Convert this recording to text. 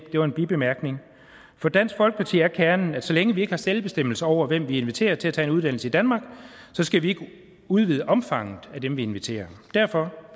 det var en bibemærkning for dansk folkeparti er kernen at så længe vi ikke har selvbestemmelse over hvem vi inviterer til at tage en uddannelse i danmark skal vi ikke udvide omfanget af dem vi inviterer derfor